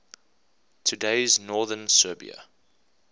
today's northern serbia